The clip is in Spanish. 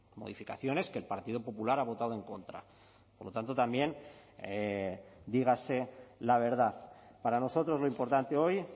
modificaciones que el partido popular ha votado en contra por lo tanto también dígase la verdad para nosotros lo importante hoy